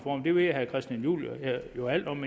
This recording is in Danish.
og det ved herre christian juhl jo alt om